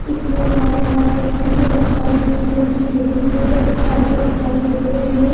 इसमें एक होल दिखाई दे रहा है जिसमे बहुत सारी कुर्सी रखी दिखाई दे रहि दिखाई परदे दिखाई दे रहे है जिसमे --